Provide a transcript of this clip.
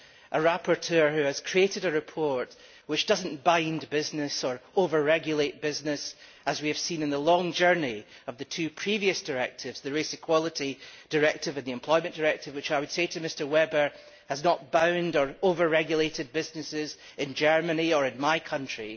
The rapporteur has created a report which does not bind business or over regulate business, as we have seen in the long journey of the two previous directives the Race Equality Directive and the Employment Directive which, I would say to Mr Weber, has not bound or over regulated businesses in Germany or in my country.